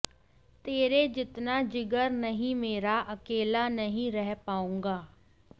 तेरे जितना जिगर नहीं मेरा अकेला नहीं रह पाऊंगा